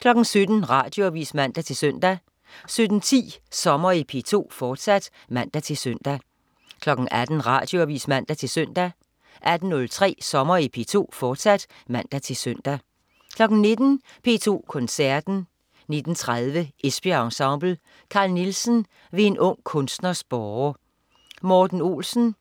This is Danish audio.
17.00 Radioavis (man-søn) 17.10 Sommer i P2, fortsat (man-søn) 18.00 Radioavis (man-søn) 18.03 Sommer i P2, fortsat (man-søn) 19.00 P2 Koncerten. 19.30 Esbjerg Ensemble. Carl Nielsen: Ved en ung kunstners båre. Morten Olsen: